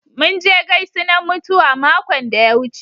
Mun je gaisunan mutuwa makon da ya wuce.